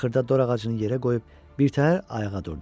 Axırda dor ağacını yerə qoyub birtəhər ayağa durdu.